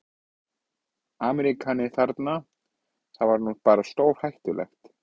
Ameríkani þarna, það var nú bara stórhættulegt.